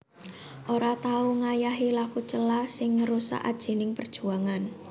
Ora tau ngayahi laku cela sing ngrusak ajining perjuangan